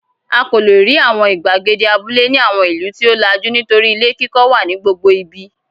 A kò lè rí àwọn ìgbàgede abúlé ní àwọn ìlú tí ó làjú nítorí ilé kíkọ́ wà ní gbogbo ibi.